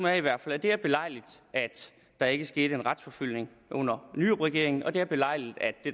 er i hvert fald at det er belejligt at der ikke skete en retsforfølgning under nyrupregeringen og at det er belejligt at det